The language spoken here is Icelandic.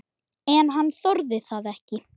En hann þorði það ekki.